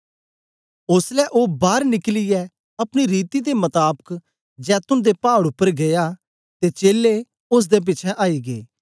ओसलै ओ बार निकलियै अपनी रीति दे मताबक जैतून दे पाड़ उपर गीया ते चेलें ओसदे पिछें आई गै